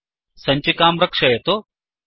सञ्चिकां रक्षयतु